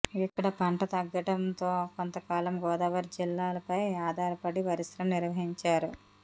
ఇక్కడ పంట తగ్గడంతో కొంతకాలం గోదావరి జిల్లాలపై ఆధారపడి పరిశ్రమలు నిర్వహించారు